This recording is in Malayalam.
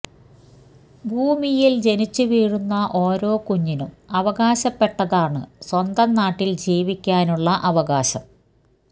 ഭൂമിയില് ജനിച്ചുവീഴുന്ന ഓരോ കുഞ്ഞിനും അവകാശപ്പെട്ടതാണ് സ്വന്തം നാട്ടില് ജീവിക്കാനുള്ള അവകാശം